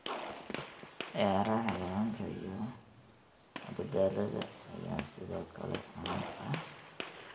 Ciyaaraha xayawaanka iyo madadaalada ayaa sidoo kale caan ah.